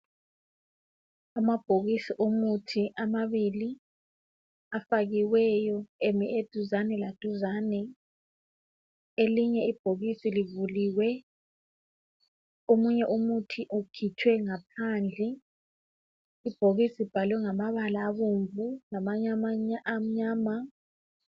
Amabhokisi omuthi amabili afakiweyo emi eduzane laduzane elinye ibhokisi livuliwe omunye umuthi ukhitshwe ngaphandle ibhokisi libhalwe ngamabala abomvu lamanye amnyama.